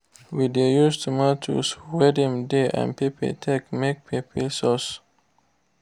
we de use tomatoes wey dem dey and pepper take make pepper sauce.